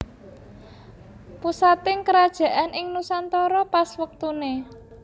Pusating kerajaan ing nusantara pas wektuné